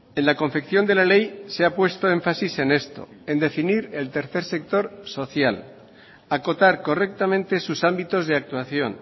en la confección de la ley se ha puesto énfasis en esto en definir el tercer sector social acotar correctamente sus ámbitos de actuación